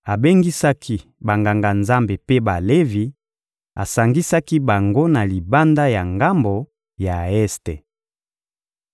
Abengisaki Banganga-Nzambe mpe Balevi, asangisaki bango na libanda ya ngambo ya este.